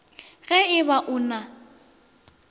ge e ba o na